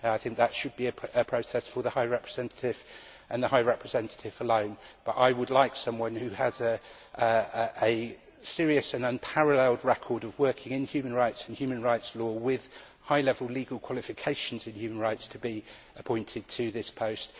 I think that should be left to the High Representative, and the High Representative alone. I would, however, like someone who has a serious and unparalleled record of working in human rights and human rights law, with high level legal qualifications in human rights, to be appointed to this